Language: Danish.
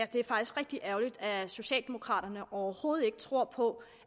det er faktisk rigtig ærgerligt at socialdemokraterne overhovedet ikke tror på